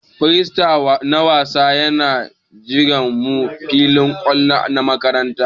Firifet na wasa Yana jiran mu ã filin kwallo na makaranta.